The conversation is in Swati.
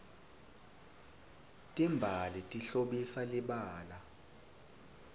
timbali tihlobisa libala